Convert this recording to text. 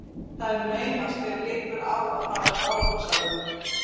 Það er naumast þér liggur á að fara frá okkur sagði hún.